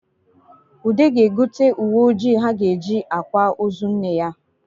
Ude ga-egote uwe ojii ha ga-eji akwa ozo nne ya